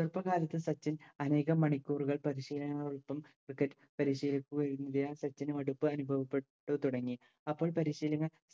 അപ്പോഴത്തെക്കാലത്ത് സച്ചിൻ അനേകം മണിക്കൂറുകൾ പരിശീലനങ്ങൾ cricket പരിശീലിക്കുകയും സച്ചിന് മടുപ്പ് അനുഭവപ്പെട്ട് തുടങ്ങി അപ്പോൾ പരിശീലകൻ